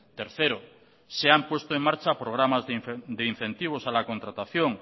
tercero se han puesto en marcha programas de incentivos a la contratación